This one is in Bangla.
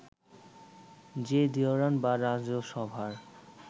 যে দিওয়ান বা রাজসভার